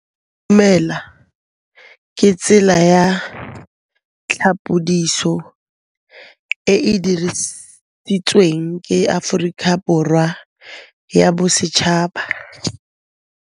Go itumela ke tsela ya tlhapolisô e e dirisitsweng ke Aforika Borwa ya Bosetšhaba.